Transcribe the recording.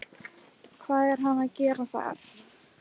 Hvað er hann að gera þar?